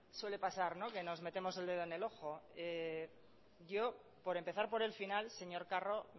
suele pasar que nos metemos el dedo en el ojo yo por empezar por el final señor carro